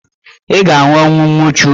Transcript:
Ị ga-anwụ ọnwụ nwuchu.